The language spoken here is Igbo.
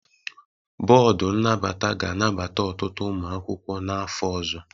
Bọọdụ nnabata ga-anabata ọtụtụ ụmụ akwụkwọ n'afọ ọzọ.